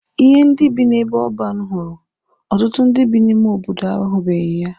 Ihe ndị bi n'ebe ọban hụrụ, ọtụtụ ndị bi n'ime obodo ahụbeghị ya.